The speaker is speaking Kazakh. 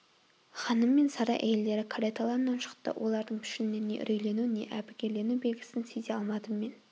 ханым мен сарай әйелдері кареталарынан шықты олардың пішінінен не үрейлену не әбігерлену белгісін сезе алмадым мен